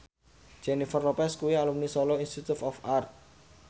Jennifer Lopez kuwi alumni Solo Institute of Art